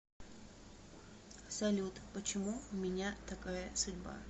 салют почему у меня такая судьба